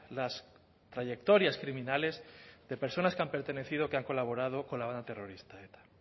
las trayectorias criminales de personas que han pertenecido o que han colaborado con la banda terrorista